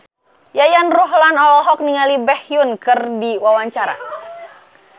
Yayan Ruhlan olohok ningali Baekhyun keur diwawancara